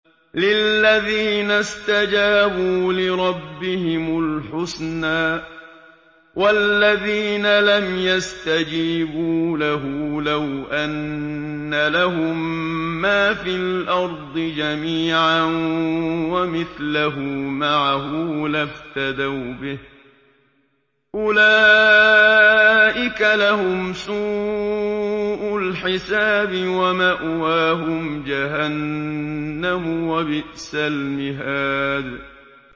لِلَّذِينَ اسْتَجَابُوا لِرَبِّهِمُ الْحُسْنَىٰ ۚ وَالَّذِينَ لَمْ يَسْتَجِيبُوا لَهُ لَوْ أَنَّ لَهُم مَّا فِي الْأَرْضِ جَمِيعًا وَمِثْلَهُ مَعَهُ لَافْتَدَوْا بِهِ ۚ أُولَٰئِكَ لَهُمْ سُوءُ الْحِسَابِ وَمَأْوَاهُمْ جَهَنَّمُ ۖ وَبِئْسَ الْمِهَادُ